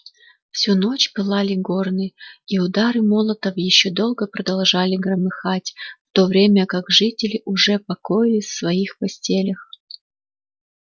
всю ночь пылали горны и удары молотов ещё долго продолжали громыхать в то время как жители уже покоились в своих постелях